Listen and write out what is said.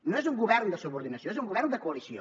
no és un govern de subordinació és un govern de coalició